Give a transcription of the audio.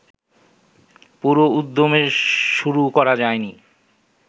পুরো উদ্যমে শুরু করা যায়নি